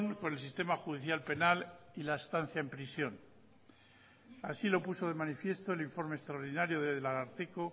con el sistema judicial penal y la estancia en prisión así lo puso de manifiesto el informe extraordinario del ararteko